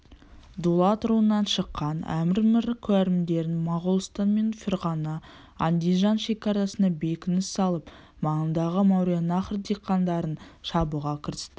дулат руынан шыққан әмір мір кәрімберді моғолстан мен ферғана андижан шекарасына бекініс салып маңындағы мауреннахр диқандарын шабуға кірісті